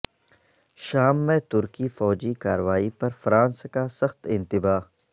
شام میں ترکی فوجی کارروائی پر فرانس کا سخت انتباہ